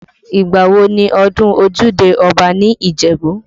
Ìgbà wo ni ọdún ojúde Ọba ní Ìjẹ̀bú?